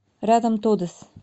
рядом тодес